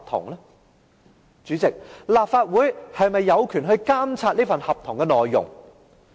代理主席，立法會又是否有權監察這份合同的內容？